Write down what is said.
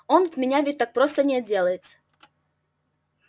он от меня ведь не так просто отделаться